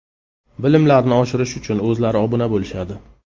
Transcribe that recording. Bilimlarni oshirish uchun o‘zlari obuna bo‘lishadi.